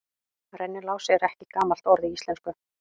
Rennilás er ekki gamalt orð í íslensku.